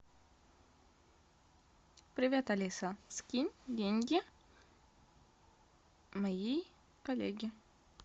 привет алиса скинь деньги моей коллеге